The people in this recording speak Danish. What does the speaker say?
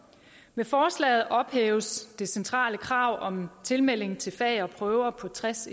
med forslaget ophæves det centrale krav om tilmelding til fag og prøver på tres